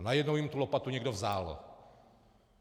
A najednou jim tu lopatu někdo vzal.